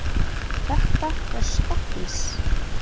Þetta er skottís!